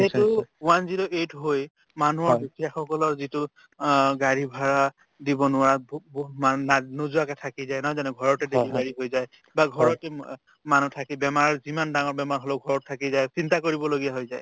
যিহেতু one zero eight হৈয় মানুহৰ দুখীয়াসকলৰ যিটো আ গাড়ীৰ ভাৰা দিব নোৱাৰা বহু বহু মানুহ নায নোযোৱাকে থাকি যায় নহয় জানো ঘৰতে delivery হৈ যায় বা ঘৰতে মা মানুহ থাকে বেমাৰ যিমান ডাঙৰ বেমাৰ হলেও ঘৰত থাকি যায় চিন্তা কৰিবলগীয়া হৈ যায়